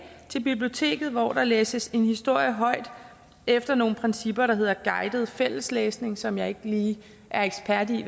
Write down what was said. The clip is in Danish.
til biblioteket hvor der læses en historie højt efter nogle principper der hedder guidet fælleslæsning som jeg ikke lige er ekspert i